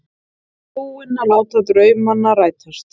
Búinn að láta draumana rætast.